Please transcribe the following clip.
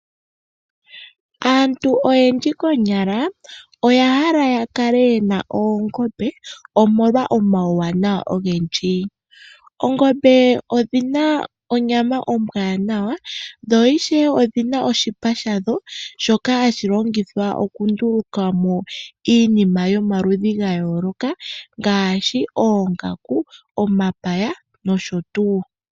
Aantu oyendji konyala oya hala ya kale yena oongombe omolwa omauwanawa ogendji. Oongombe odhina onyama ombwanawa, dho ishewe odhina oshipa shadho shoka hashi longithwa okunduluka mo iinima yomaludhi ga yooloka ngaashi oongaku, omapaya nosho tuu.